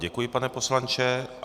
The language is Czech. Děkuji, pane poslanče.